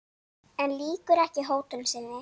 En lýkur ekki hótun sinni.